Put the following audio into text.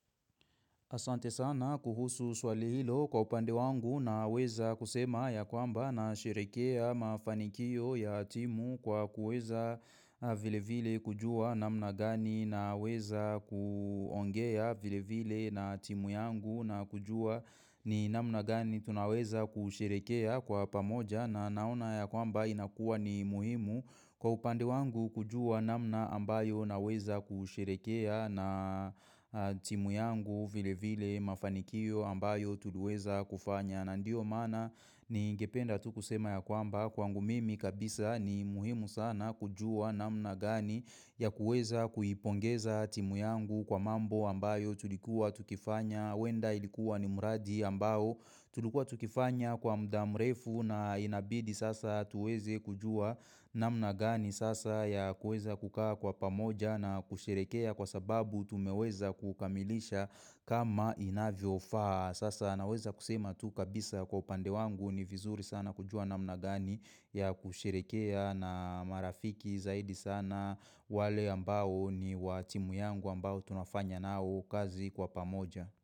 Asante sana kuhusu swali hilo kwa upande wangu na weza kusema ya kwamba na sherekea mafanikio ya timu kwa kuweza vile vile kujua namna gani na weza kuongea vile vile na timu yangu na kujua ni namna gani tunaweza kusherekea kwa pamoja na naona ya kwamba inakua ni muhimu. Kwa upande wangu kujua namna ambayo na weza kusherekea na timu yangu vile vile mafanikio ambayo tuluweza kufanya. Na ndio mana ni ingependa tu kusema ya kwamba kwangu mimi kabisa ni muhimu sana kujua namna gani ya kuweza kuipongeza timu yangu kwa mambo ambayo tulikuwa tukifanya. Wenda ilikuwa ni muradi ambao tulkua tukifanya kwa mdamrefu na inabidi sasa tuweze kujua namna gani sasa ya kuweza kukaa kwa pamoja na kusherekea kwa sababu tumeweza kukamilisha kama inavyo faa. Sasa naweza kusema tu kabisa kwa upande wangu ni vizuri sana kujua namna gani ya kusherekea na marafiki zaidi sana wale ambao ni wa timu yangu ambao tunafanya nao kazi kwa pamoja.